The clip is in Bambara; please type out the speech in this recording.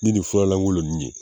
Ni nin fura lankolon ninnu ye